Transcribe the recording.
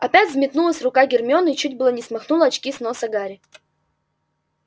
опять взметнулась рука гермионы и чуть было не смахнула очки с носа гарри